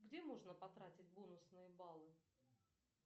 где можно потратить бонусные баллы